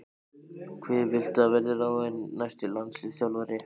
Hver viltu að verði ráðinn næsti landsliðsþjálfari?